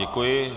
Děkuji.